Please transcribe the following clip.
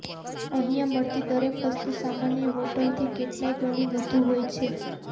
અહિયાં મળતી દરેક વસ્તુ સામાન્ય હોટલથી કેટલાય ગણી વધુ હોય છે